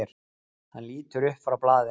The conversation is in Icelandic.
Hann lítur upp frá blaðinu.